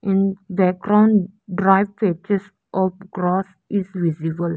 in background dry patches or grass is visible.